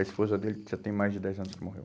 A esposa dele já tem mais de dez anos que morreu.